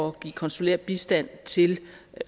at give konsulær bistand til